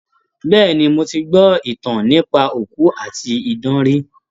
Bẹ́ẹ̀ni, mo ti gbọ́ ìtàn nípa òkú àti idán rí.